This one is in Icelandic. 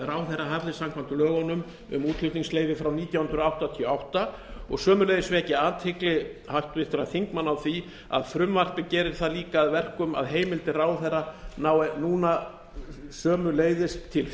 ráðherra hafði samkvæmt lögunum um útflutningsleyfi frá nítján hundruð áttatíu og átta og sömuleiðis vekja athygli háttvirtra þingmanna á því að frumvarpið gerir það líka að verkum að heimildir ráðherra ná núna sömuleiðis til fjárfestinga